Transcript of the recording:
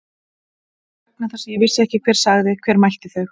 Kannski vegna þess að ég vissi ekki hver sagði. hver mælti þau.